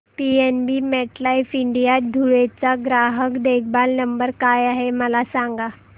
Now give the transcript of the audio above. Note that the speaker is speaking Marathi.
पीएनबी मेटलाइफ इंडिया धुळे चा ग्राहक देखभाल नंबर काय आहे मला सांगा